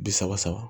Bi saba saba